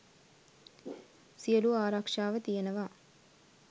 සියලූ ආරක්ෂාව තියෙනවා.